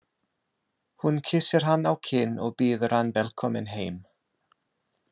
Hún kyssir hann á kinn og býður hann velkominn heim.